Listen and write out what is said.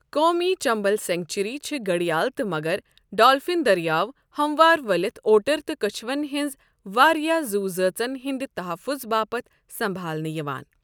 قومی چمبل سینکچری چھِ گھڑیال تہٕ مگر، ڈالفن دٔریاو ، ہموار ؤلِتھ اوٹر تہٕ کچھوَن ہٕنٛز واریٛاہ زوٗزٲژَن ہٕنٛدِ تحفظ باپتھ سنٛبھالنہٕ یِوان۔